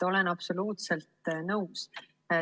Olen absoluutselt nõus.